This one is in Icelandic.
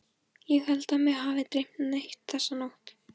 Ég held að mig hafi ekki dreymt neitt þessa nótt.